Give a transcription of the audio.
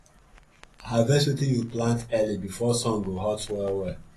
harvest wetin you plant early before sun go hot well well